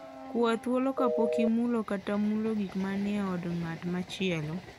Kwa thuolo kapok imulo kata mulo gik manie od ng'at machielo.